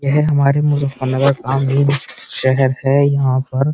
यह हमारे मुज्जफरनगर का मेन शहर है। यहाँ पर --